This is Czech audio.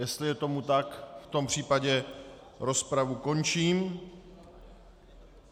Jestli je tomu tak, v tom případě rozpravu končím.